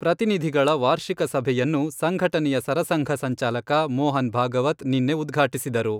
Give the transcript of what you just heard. ಪ್ರತಿನಿಧಿಗಳ ವಾರ್ಷಿಕ ಸಭೆಯನ್ನು ಸಂಘಟನೆಯ ಸರಸಂಘ ಸಂಚಾಲಕ ಮೋಹನ್ ಭಾಗವತ್ ನಿನ್ನೆ ಉದ್ಘಾಟಿಸಿದರು.